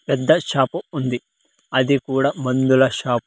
పెద్ద షాపు ఉంది అది కూడా మందుల షాప్ .